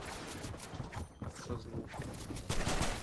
автозвук